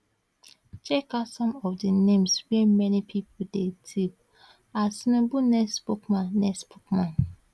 check out some of di names wey many pipo dey tip as tinubu next spokesman next spokesman